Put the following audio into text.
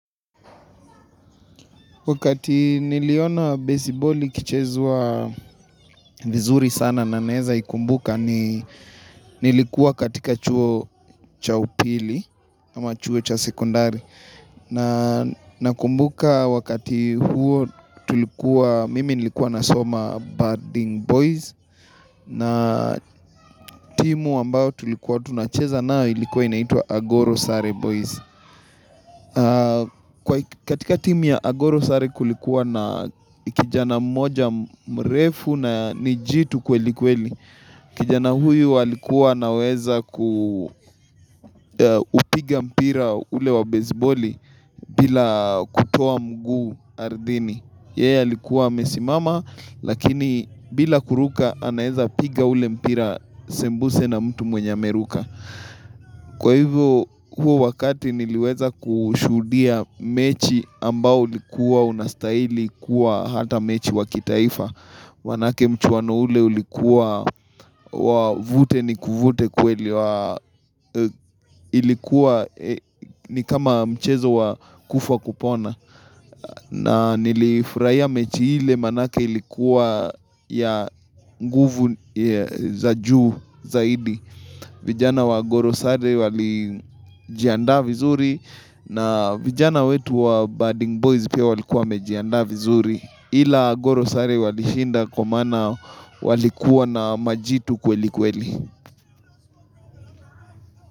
Wakati niliona base ball ikichezwa vizuri sana na naeza ikumbuka ni nilikuwa katika chuo cha upili ama chuo cha sekondari. Na nakumbuka wakati huo tulikuwa, mimi nilikuwa nasoma boarding boys na timu ambayo tulikuwa tunacheza nayo ilikuwa inaitwa agorosare boys. Katika timu ya agorosare kulikuwa na kijana mmoja mrefu na ni jitu kweli kweli. Kijana huyu alikua anaweza kupiga mpira ule wa besiboli bila kutoa mguu ardhini. Yeye alikuwa amesimama lakini bila kuruka anaeza piga ule mpira sembuse na mtu mwenye ameruka. Kwa hivo huo wakati niliweza kushuhudia mechi ambao ulikuwa unastaili kuwa hata mechi wa kitaifa maanake mchuano ule ulikuwa wa nivute nikuvute kweli Ilikuwa ni kama mchezo wa kufa kupona na nilifurahia mechi ile maanake ilikuwa ya nguvu za juu zaidi vijana wa agorosare walijiandaa vizuri na vijana wetu wa bading boys pia walikuwa wamejiandaa vizuri, ila agorosare walishinda kwa maana walikuwa na majitu kweli kweli.